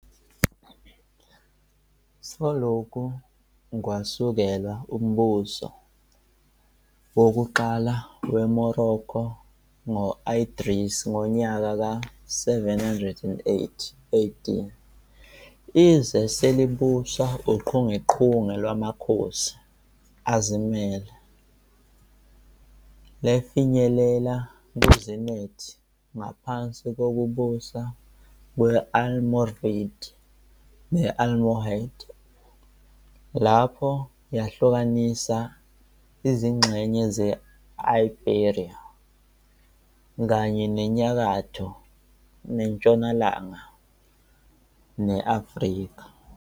Selokhu kwasekelwa umbuso wokuqala weMorocco ngo-Idris I ngonyaka ka 788 AD, izwe selibuswa uchungechunge lwamakhosi azimele, lafinyelela ku-zenith ngaphansi kokubusa kwe-Almoravid ne-Almohad, lapho yahlukanisa izingxenye ze-Iberia kanye nenyakatho nentshonalanga ne-Afrika.